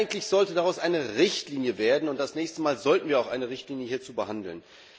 Eigentlich sollte daraus eine Richtlinie werden, und das nächste Mal sollten wir auch eine Richtlinie hierzu behandeln.